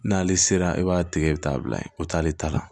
N'ale sera e b'a tigɛ i bɛ t'a bila yen o t'ale ta la